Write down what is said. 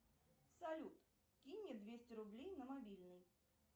салют кинь мне двести рублей на мобильный